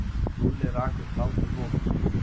Lúlli rak upp hláturroku.